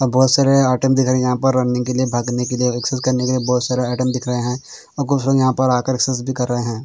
और बहुत सारे आइटम दिख रहे हैं यहाँ पर रनिंग के लिए भागने के लिए एक्सेस करने के लिए बहुत सारे आइटम दिख रहा हैं कुछ लोग यहाँ पर आ कर एक्सेस भी कर रहे हैं।